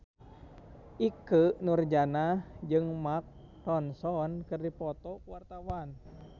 Ikke Nurjanah jeung Mark Ronson keur dipoto ku wartawan